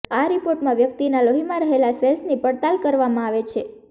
આ રિપોર્ટમાં વ્યકિતનાં લોહીમાં રહેલા સેલ્સની પડતાલ કરવામાં આવે છે